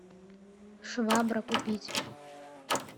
швабра купить